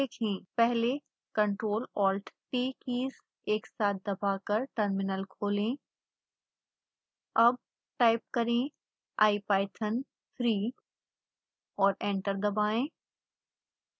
पहले ctrl+alt+t keys एक साथ दबाकर टर्मिनल खोलें